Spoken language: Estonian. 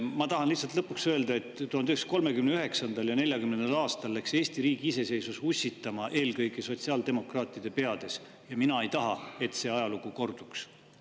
Ma tahan lihtsalt lõpuks öelda, et 1939. ja 1940. aastal läks Eesti riigi iseseisvus ussitama eelkõige sotsiaaldemokraatide peades ja mina ei taha, et ajalugu korduks.